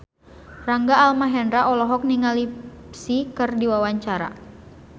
Rangga Almahendra olohok ningali Psy keur diwawancara